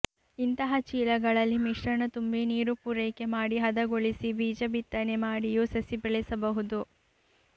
ಇಂತಹ ಚೀಲಗಳಲ್ಲಿ ಮಿಶ್ರಣ ತುಂಬಿ ನೀರು ಪೂರೈಕೆ ಮಾಡಿ ಹದಗೊಳಿಸಿ ಬೀಜ ಬಿತ್ತನೆ ಮಾಡಿಯೂ ಸಸಿ ಬೆಳೆಸಬಹುದು